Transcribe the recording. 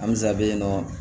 Alisa bi yen nɔ